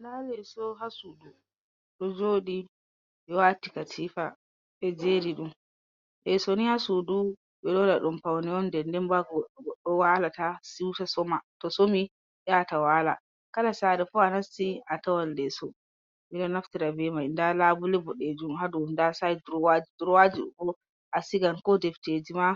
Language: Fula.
Nda leeso haa suudu ɗon jooɗi, ɓewati katifa ɓejeriɗum, leeso ni haa suudu ɓeɗon waɗaɗum pawne'on, nden ndenboh haa goɗɗo walata siwta soma, tosomi yaata waala, kala saare fuu anasti atawan leeso ɓeɗon naftira bee mai, nda labule boɗeejum haa dow nda side durowaji boh anaftiran acigan ko deftejima